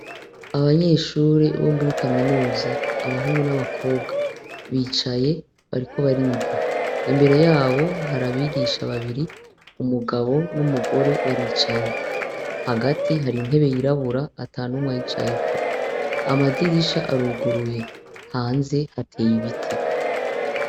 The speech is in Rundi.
Abanyeshure bo muri kaminuza abahungu n' abakobwa bicaye bariko bariga imbere yabo hari abigisha babiri umugabo n' umugore baricaye hagati hari intebe yirabura atanumwe ayicayeko amadirisha aruguruye hanze hateye ibiti.